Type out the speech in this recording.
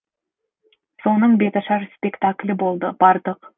соның беташар спектаклі болды бардық